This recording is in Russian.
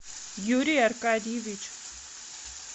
юрий аркадьевич